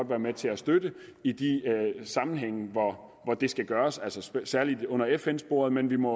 være med til at støtte i de sammenhænge hvor det skulle gøres altså særligt under fn sporet men vi må